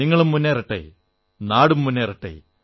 നിങ്ങളും മുന്നേറട്ടെ നാടും മുന്നേറട്ടെ